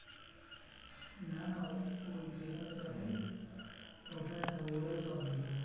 না না ও ও যেখানে যাবে ওখানে থাকবে ওরাই সব দিয়ে দেয়।